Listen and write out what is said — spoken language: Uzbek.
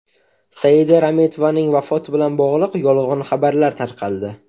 Saida Rametovaning vafoti bilan bog‘liq yolg‘on xabarlar tarqaldi.